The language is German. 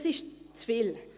Das ist zu viel.